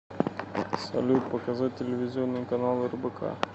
салют показать телевизионный канал рбк